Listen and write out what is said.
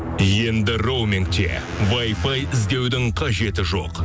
енді роумингте вайфай іздеудің қажеті жоқ